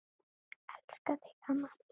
Elska þig amma mín.